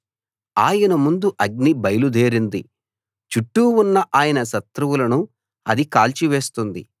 ఆయన ముందు అగ్ని బయలు దేరింది చుట్టూ ఉన్న ఆయన శత్రువులను అది కాల్చివేస్తుంది